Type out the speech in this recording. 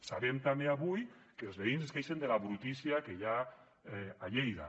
sabem també avui que els veïns es queixen de la brutícia que hi ha a lleida